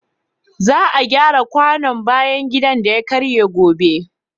Za a gyara kwanon bayan gida da ya karye gobe.